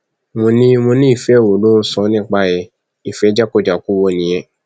mo ní mo ní ìfẹ wo ló ń sọ nípa ẹ ìfẹ jákujàku wo nìyẹn